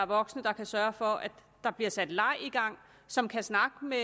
voksne der kan sørge for at der bliver sat leg i gang som kan snakke med